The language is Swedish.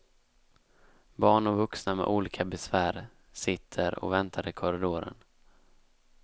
Barn och vuxna med olika besvär sitter och väntar i korridoren.